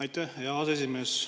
Aitäh, hea aseesimees!